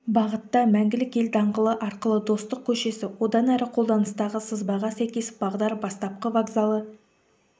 бағытта мәңгілік ел даңғылы арқылы достық көшесі одан әрі қолданыстағы сызбаға сәйкес бағдар бастапқы вокзалы